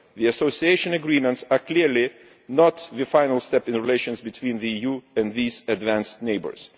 The Association Agreements are clearly not the final step in relations between the EU and these advanced neighbours.